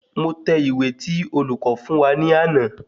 Mo tẹ ìwé tí olùko fún wa ní àná